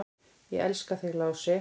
"""Ég elska þig, Lási."""